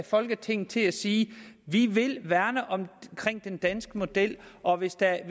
folketinget til at sige vi vil værne om den danske model og hvis der i